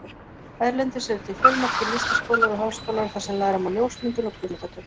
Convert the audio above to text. Erlendis eru til fjölmargir listaskólar og háskólar þar sem læra má ljósmyndun og kvikmyndatökur.